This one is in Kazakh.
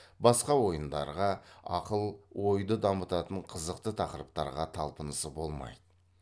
басқа ойындарға ақыл ойды дамытатын қызықты тақырыптарға талпынысы болмайды